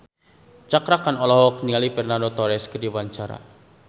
Cakra Khan olohok ningali Fernando Torres keur diwawancara